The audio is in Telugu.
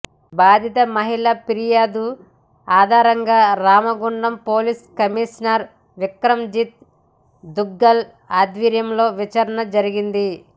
బాధిత మహిళ పిర్యాదు ఆధారంగా Ramagundam police commissioner Vikramjit Duggal ఆద్వర్యంలో విచారణ జరిగింది